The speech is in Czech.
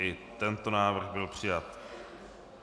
I tento návrh byl přijat.